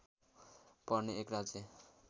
पर्ने एक राज्य